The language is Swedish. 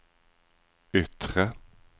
yttre